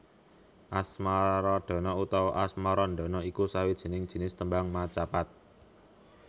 Asmaradana utawa Asmarandana iku sawijining jinis tembang macapat